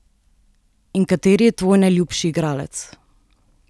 In kateri je tvoj najljubši igralec?